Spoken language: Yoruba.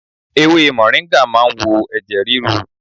Ewé mọ̀ríngà ma ń wo ẹ̀jẹ̀ ríru.